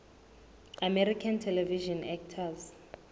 american television actors